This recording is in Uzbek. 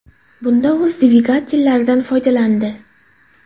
Bunda u o‘z dvigatellaridan foydalandi.